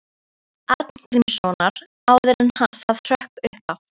Knúts Arngrímssonar, áður en það hrökk upp af.